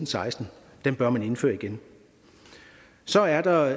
seksten den bør man indføre igen så er der